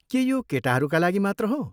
के यो केटाहरूका लागि मात्र हो?